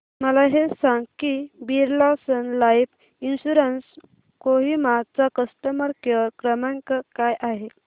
मला हे सांग की Birla sun life insurance Kohima चा कस्टमर केअर क्रमांक काय आहे